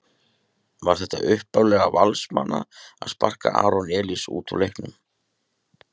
Var það upplegg Valsmanna að sparka Aron Elís út úr leiknum?